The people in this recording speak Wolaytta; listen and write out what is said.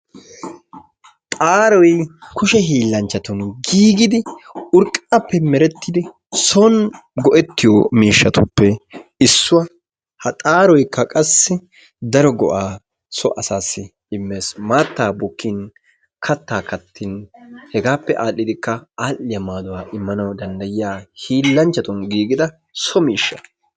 Xaaroy kushe hiillanchchattun giigidi urqaappe meretidi soon go"ettiyo miishshatuppe issuwa. Ha xaaroykka qassi daro go"aa so asaassi immees. Maattaa bukkin kattaa kattin hegaappe aadhdhidikka aadhdhiyaa maaduwa immanawu danddayiya hiillanchchatun giigida so miishsha.